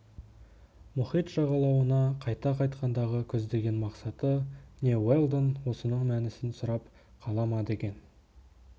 мұхит жағалауына қайта қайтқандағы көздеген мақсаты не уэлдон осының мәнісін сұрап қала ма деген